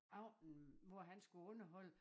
Aften hvor han skulle underholde